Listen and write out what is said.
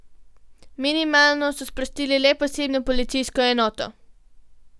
Minimalno so sprostili le posebno policijsko enoto.